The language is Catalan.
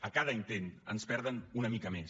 a cada intent ens perden una mica més